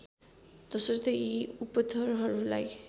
तसर्थ यी उपथरहरूलाई